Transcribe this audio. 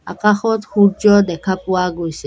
আকাশত সূৰ্য্য দেখা পোৱা গৈছে।